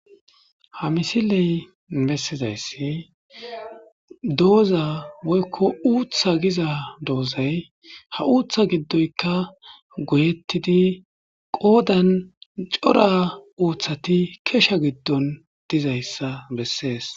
ha misiley bessizayssi dooza woykko uutha giza doozay ha uuththa giddoyka goyettidi qoodan cora uuththati kesha giddon dizayssa bessees